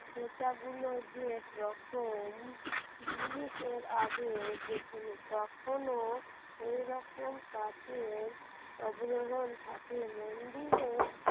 খোঁচাগুলো যেরকম জিনিস এর আগে দেখিনি কখনো এইরকম কাঠের আবরণ থাকে মন্দিরের